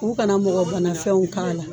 U kana mɔgɔ bana fɛnw k'a la.